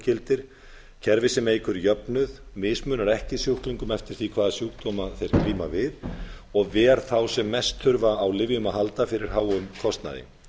gildir kerfi sem eykur jöfnuð mismunar ekki sjúklingum eftir því hvaða sjúkdóma þeir glíma við og ver þá sem mest þurfa á lyfjum að halda fyrir háum kostnaði